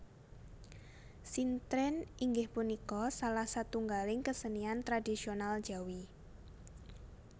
Sintren inggih punika salah satunggaling kesenian tradhisional Jawi